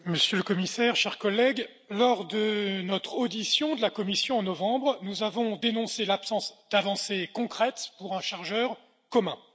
Madame la Présidente, Monsieur le Commissaire, chers collègues, lors de notre audition de la Commission, en novembre, nous avons dénoncé l'absence d'avancées concrètes pour un chargeur commun.